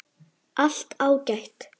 Allt ágætt.